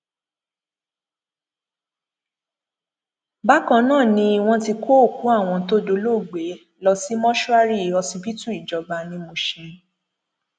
bákan náà ni wọn ti kó òkú àwọn tó dolóògbé lọọ sí mọṣúárì ọsibítù ìjọba ní mushin